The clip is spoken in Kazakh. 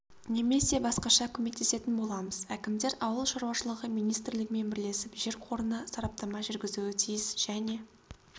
немесе басқаша көмектесетін боламыз әкімдер ауыл шаруашылығы министрлігімен бірлесіп жер қорына сараптама жүргізуі тиіс және